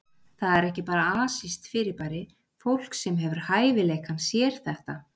Það er ekki bara asískt fyrirbæri, fólk sem hefur hæfileikann sér þetta.